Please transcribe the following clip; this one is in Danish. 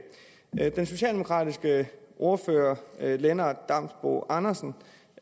den socialdemokratiske ordfører herre lennart damsbo andersen